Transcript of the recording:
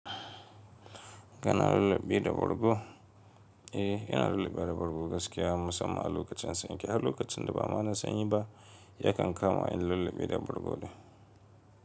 Kana lulluɓe da bargo? Eh, ina lulluɓewa da bargo gaskiya musamman a lokacin sanyi, har lokacin da ba ma na sani ba, ya kan kama in lulluɓi da bargo.